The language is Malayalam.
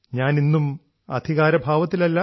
ഞാൻ ഇന്നും അധികാരഭാവത്തിലല്ല